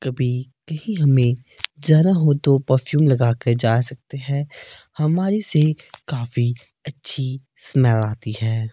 कभी यही हमें जरा हो तो परफ्यूम लगा कर जा सकते हैं हमारे से काफी अच्छी स्मेल आती है।